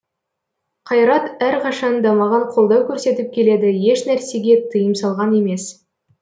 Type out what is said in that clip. қайрат әрқашан да маған қолдау көрсетіп келеді ешнәрсеге тыйым салған емес